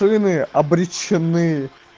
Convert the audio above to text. толи мы обречены